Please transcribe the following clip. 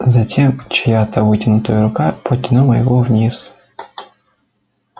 затем чья-то вытянутая рука потянула его вниз